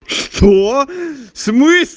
что в смыс